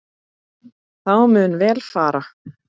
Þá mun vel fara.